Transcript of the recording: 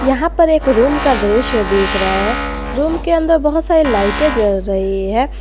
यहां पर एक रूम का दृश्य दिख रहा है रूम के अंदर बहुत सारी लाइटें जल रही हैं।